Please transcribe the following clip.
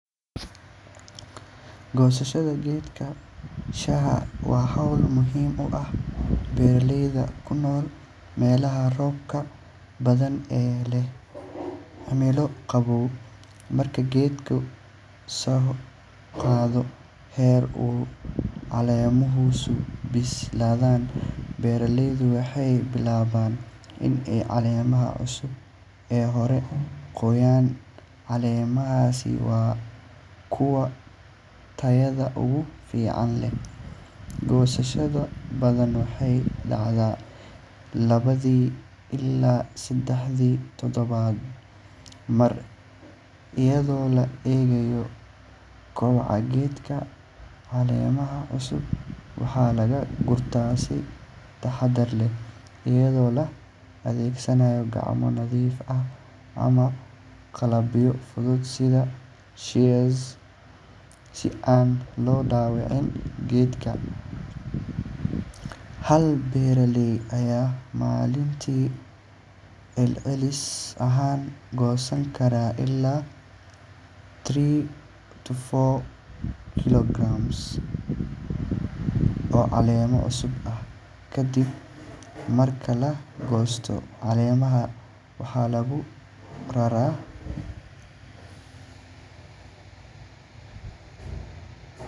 Gosashaada geedka shaha waa hol muhiim u ah beera leyda kunol melaha robka badan ee leh cimilo qawow marku geedka her u calemuhu so bislaadan beera leydu waxee bilawan in ee calemaaha cusub hore u qoyan, calemahasi waa kuwa tayaada ugu fican, waxaa laga gurtaa si taxaada leh, si an lo dawacin geedka, kadiib marka lagosto calemuhu waxaa lagu rara.